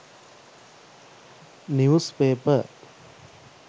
news paper